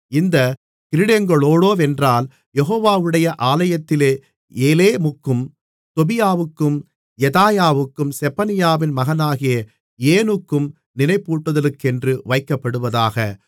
இந்தக் கிரீடங்களோவென்றால் யெகோவாவுடைய ஆலயத்திலே ஏலேமுக்கும் தொபியாவுக்கும் யெதாயாவுக்கும் செப்பனியாவின் மகனாகிய ஏனுக்கும் நினைப்பூட்டுதலுக்கென்று வைக்கப்படுவதாக